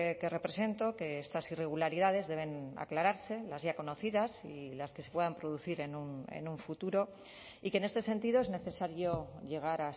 que represento que estas irregularidades deben aclararse las ya conocidas y las que se puedan producir en un futuro y que en este sentido es necesario llegar